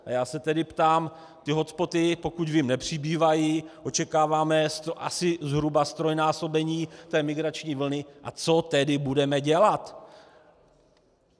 A já se tedy ptám, ty hotspoty, pokud vím, nepřibývají, očekáváme asi zhruba ztrojnásobení té migrační vlny, a co tedy budeme dělat.